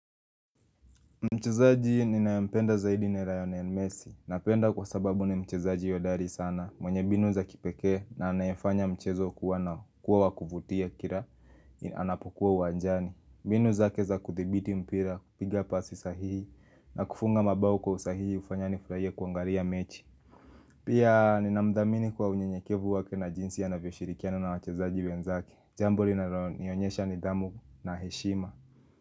Mchezaji ninayempenda zaidi ni rayonen mesi napenda kwa sababu ni mchezaji hodari sana mwenye binu za kipekee na anayefanya mchezo kuwa wa kuvutia kira anapokuwa uwanjani. Binu zake za kuthibiti mpira, kupiga pasi sahihi na kufunga mabao kwa usahihi ufanya nifuraie kuangaria mechi. Pia ninamdhamini kwa unyenyekevu wake na jinsi anavyo shirikiana na wachezaji wenzake. Jambo linalonionyesha nidhamu na heshima.